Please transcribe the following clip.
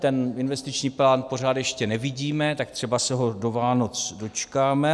Ten investiční plán pořád ještě nevidíme, tak třeba se ho do Vánoc dočkáme.